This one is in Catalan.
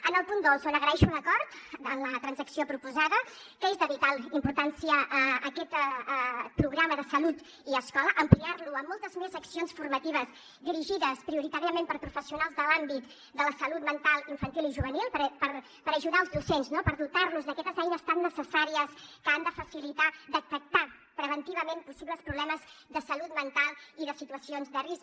en el punt dos on agraeixo l’acord en la transacció proposada que és de vital importància aquest programa de salut i escola ampliar lo amb moltes més accions formatives dirigides prioritàriament per professionals de l’àmbit de la salut mental infantil i juvenil per ajudar els docents no per dotar los d’aquestes eines tan necessàries que han de facilitar detectar preventivament possibles problemes de salut mental i de situacions de risc